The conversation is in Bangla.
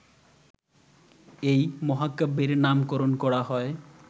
এই মহাকাব্যের নামকরণ করা হয়